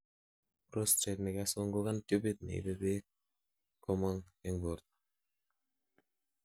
prostate nekasungukan tubit neibe beek komong en borto